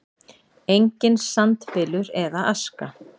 Enginn sandbylur eða aska.